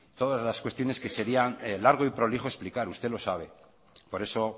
todas las cuestiones que serían largo y prolijo explicar usted lo sabe por eso